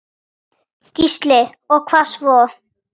Gísli: Og hvað svo?